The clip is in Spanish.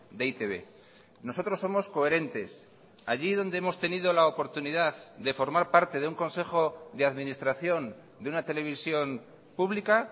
de e i te be nosotros somos coherentes allí donde hemos tenido la oportunidad de formar parte de un consejo de administración de una televisión pública